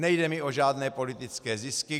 Nejde mi o žádné politické zisky.